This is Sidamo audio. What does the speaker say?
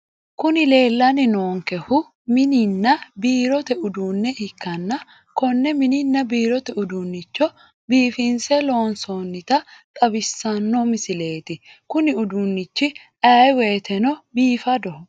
Kuni leellanni noonkehu mininna biirote uduunne ikanna konne mininna biirote udduunnicho biifinse loonsoonita xawissanno misileeti kuni uduunnichi ayee wiyteno biifadoho.